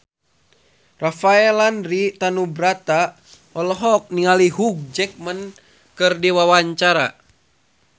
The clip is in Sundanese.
Rafael Landry Tanubrata olohok ningali Hugh Jackman keur diwawancara